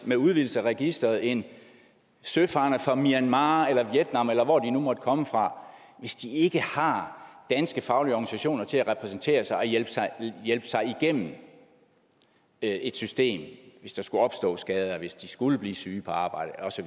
med udvidelse af registeret en søfarende fra myanmar eller vietnam eller hvor de nu måtte komme fra ikke har danske faglige organisationer til at repræsentere sig og hjælpe sig sig igennem et system hvis der skulle opstå skader hvis de skulle blive syge på arbejdet og så